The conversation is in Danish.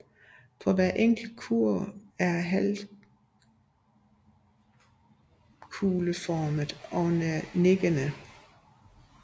Hver enkelt kurv er halvkugleformet og nikkende